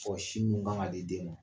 Fɔ sin ji' ɲuman ka di den ma